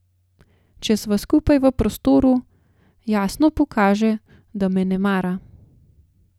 Če sva skupaj v prostoru, jasno pokaže, da me ne mara.